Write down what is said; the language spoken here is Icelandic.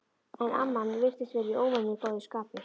En amman virtist vera í óvenju góðu skapi.